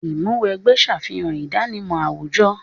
Ìmúw'ẹgbẹ́ ṣàfihàn ìdánimọ̀ àwùjọ.